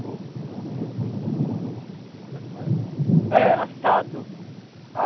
Como é que faz isso? É assado.